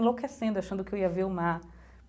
Enlouquecendo, achando que eu ia ver o mar.